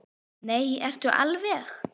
Nei, ertu alveg.